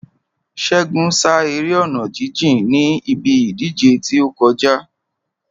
Ṣégun sá eré ọ̀nà jíjìn níbi ìdíje tí ó kọjá.